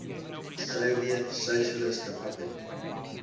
soviet socialist republic